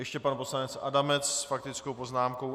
Ještě pan poslanec Adamec s faktickou poznámkou.